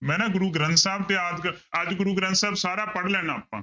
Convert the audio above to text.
ਮੈਂ ਨਾ ਗੁਰੂ ਗ੍ਰੰਥ ਸਾਹਿਬ ਤੇ ਅੱਜ ਗੁਰੂ ਗ੍ਰੰਥ ਸਾਹਿਬ ਸਾਰਾ ਪੜ੍ਹ ਲੈਣਾ ਆਪਾਂ।